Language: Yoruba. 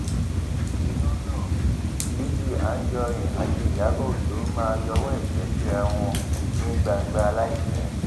iná ran l picc anijọrin àti ìyàbọ ọjọ máa yọwọ ẹṣẹ síra wọn ní gbangba láìpẹ